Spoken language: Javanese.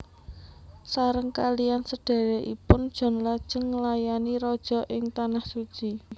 Sareng kalihan sedhèrèkipun John lajeng nglayani Raja ing Tanah Suci